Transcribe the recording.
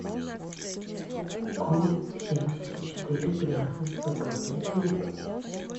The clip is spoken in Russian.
оу семьдесят четыре грязный свободный клип